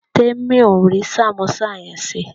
Temi ò rí sàmósà yẹn ṣe